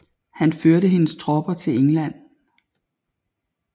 Han førte hendes tropper til England